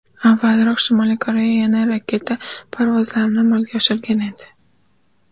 Avvalroq Shimoliy Koreya yana raketa parvozlarini amalga oshirgan edi.